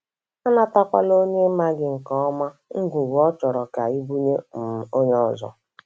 Anatakwala onye ị maghị nke ọma ngwugwu ọ chọrọ ka I bunye um onye ọzọ.